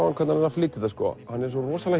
flytur þetta hann er svo rosalega